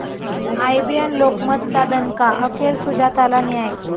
IBN लोकमतचा दणका, अखेर सुजाताला न्याय